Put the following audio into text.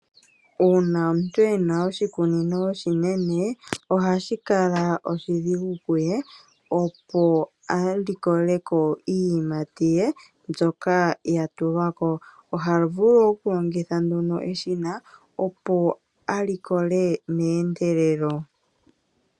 Uuna omuntu ena oshikunino oshinene. Ohashi kala oshidhigu kuye, opo a likoleko iiyimati ye mbyoka ya ima. Oha vulu okulongitha eshina, opo a likole meendelelo.